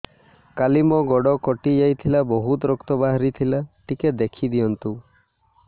କାଲି ମୋ ଗୋଡ଼ କଟି ଯାଇଥିଲା ବହୁତ ରକ୍ତ ବାହାରି ଥିଲା ଟିକେ ଦେଖି ଦିଅନ୍ତୁ